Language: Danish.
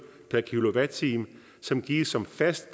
per kilowatt time som gives som fast